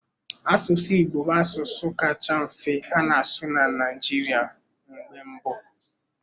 Asụsụ Igbo bụ asụsụ kacha mfe a na-asụ na Naịjirịa mgbe mbụ